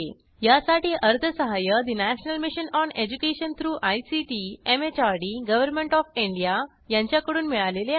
यासाठी अर्थसहाय्य national mission on education through ICT MHRD government of India यांच्याकडून मिळालेले आहे